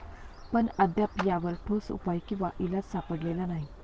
पण अद्याप यावर ठोस उपाय किंवा इलाज सापडलेला नाही.